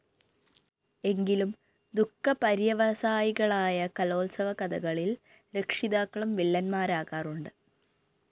എങ്കിലും ദുഃഖപര്യവസായികളായ കലോത്സവകഥകളില്‍ രക്ഷിതാക്കളും വില്ലന്മാരാകാറുണ്ട്‌